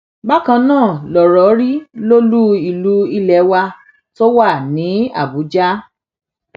bákan náà lọrọ rí lólu ìlú ilé wa tó wà ní àbújá